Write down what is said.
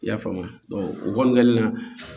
I y'a faamu o kɔni kɛlen na